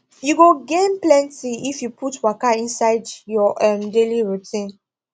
you go gain plenty if you put waka inside your um daily routine